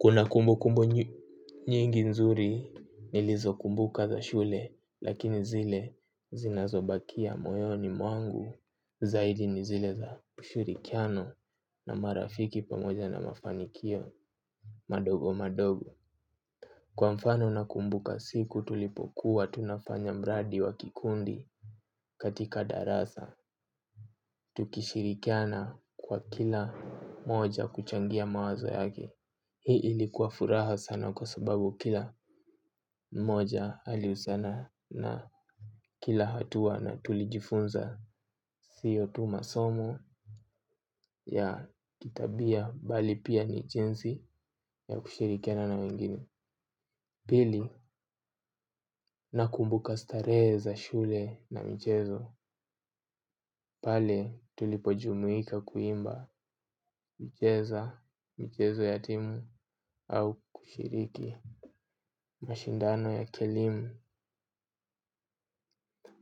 Kuna kumbukumbu nyingi nzuri nilizo kumbuka za shule lakini zile zinazobakia moyoni mwangu zaidi ni zile za kushirikiano na marafiki pamoja na mafanikio madogo madogo. Kwa mfano na kumbuka siku tulipokuwa tunafanya mradi wa kikundi katika darasa. Tukishirikiana kwa kila mmoja kuchangia mawazo yake. Hii ilikuwa furaha sana kwa sababu kila mmoja alihusiana na kila hatua na tulijifunza sio tu masomo ya kitabia bali pia ni jinsi ya kushirikiana na wengine pili nakumbuka starehe zq shule na mchezo. Pale tulipojumuika kuimba kucheza, michezo ya timu au kushiriki mashindano ya kielimu.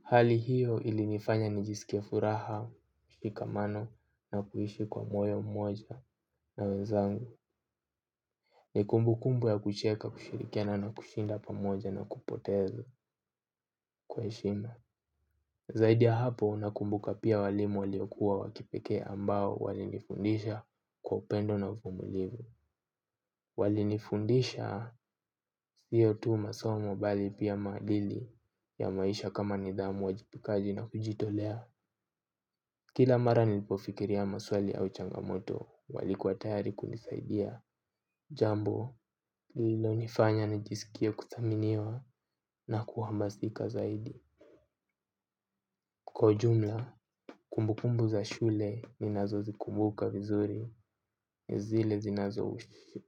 Hali hiyo ili nifanya nijisikie furaha, kushikamano na kuishi kwa moyo mmoja na wenzangu. Ni kumbukumbu ya kucheka kushirikiana na kushinda pamoja na kupoteza kwa heshima. Zaidi ya hapo nakumbuka pia walimu waliokuwa wakipekee ambao walinifundisha kwa upendo na uvumilivu. Walinifundisha sio tu masomo bali pia maadili ya maisha kama nidhamu uwajibikaji na kujitolea kila mara nilipofikiria maswali au changa moto walikua tayari kunisaidia jambo hii inanifanya nijiskie kudhaminiwa na kuhamasika zaidi kwa ujunla kumbukumbu za shule ninazo zikumbuka vizuri zile zinazo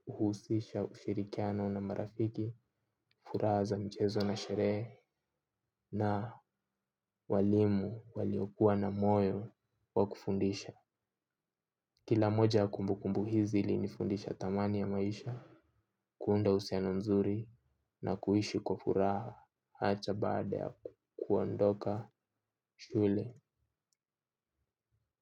husisha ushirikiano na marafiki furaha za michezo na sherehe na walimu waliokuwa na moyo wa kufundisha kila moja ya kumbukumbu hizi ilinifundisha thamani ya maisha kuunda uhusiano mzuri na kuishi kwa furaha ata baada ya kuondoka shule.